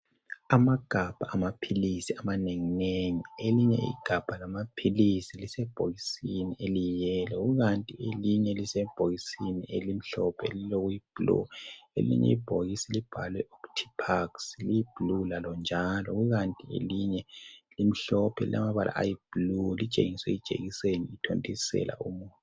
Amagabha amaphilisi amanenginengi, elinye igabha lamaphilisi lisebhokisini eliyi yellow. Kukanti elinye lisebhokisini elimhlophe lilokuyi blue. Elinye ibhokisi libhalwe OTIPAX liyiblue lalo njalo. Ikanti elinye limhlophe lilamabala ayi blue elitshingise ijekiseni ithontisela umuthi.